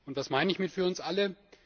Was meine ich mit für uns alle?